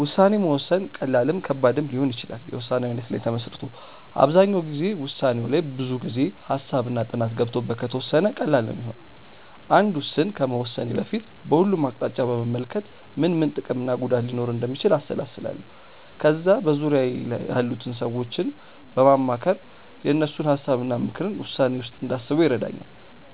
ውሳኔ መወሰን ቀላልም ከባድም ሊሆን ይችላል የውሳኔው አይነት ላይ ተመስርቶ። አብዛኛው ጊዜ ውሳኔው ላይ ብዙ ጊዜ፣ ሃሳብ እና ጥናት ገብቶበት ከተወሰነ ቀላል ነው ሚሆነው። አንድ ውስን ከመወሰኔ በፊት በሁሉም አቅጣጫ በመመልከት ምን ምን ጥቅም እና ጉዳት ሊኖረው እንደሚችል አሰላስላለው። ከዛ በዙርያዬ ያሉትን ሰዎች በማማከር የእነሱን ሀሳብ እና ምክርን ውሳኔዬ ውስጥ እንዳስበው ይረዳኛል።